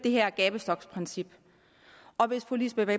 det her gabestoksprincip og hvis fru lisbeth